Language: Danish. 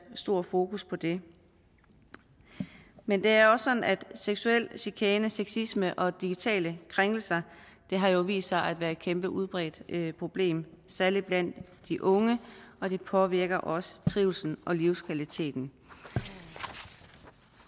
stort fokus på det men det er jo også sådan at seksuel chikane sexisme og digitale krænkelse har vist sig at være et kæmpe og udbredt problem særlig blandt de unge og det påvirker også trivslen og livskvaliteten